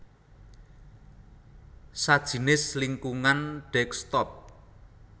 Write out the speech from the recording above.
sajinis lingkungan desktop